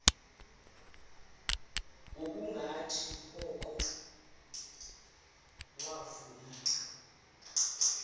ngokungathi oko wavuma